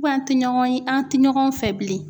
an tɛ ɲɔgɔn ye, an tɛ ɲɔgɔn fɛ bilen.